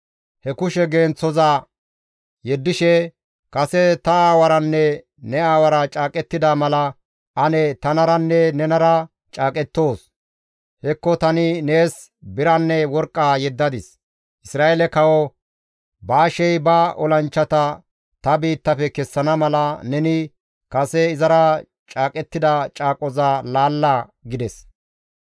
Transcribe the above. He kushe genththoza yeddishe, «Kase ta aawaranne ne aawara caaqettida mala ane tanaranne nenara caaqettoos; hekko tani nees biranne worqqa yeddadis. Isra7eele kawo Baashey ba olanchchata ta biittafe kessana mala, neni kase izara caaqettida caaqoza laalla» gides.